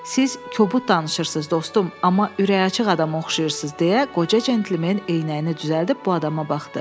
Siz kobud danışırsız, dostum, amma ürəkaçıcı adama oxşayırsız deyə qoca centlmen eynəyini düzəldib bu adama baxdı.